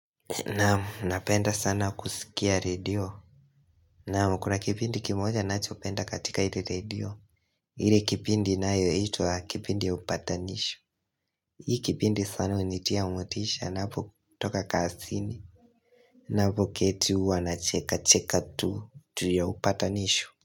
Naam napenda sana kusikia radio Naam kuna kipindi kimoja ninachopenda katika ile radio ile kipindi inayoitwa kipindi ya upatanisho Hii kipindi sana hunitia motisha napotoka kaasini Napoketi uwa nacheka cheka tu ya upatanisho.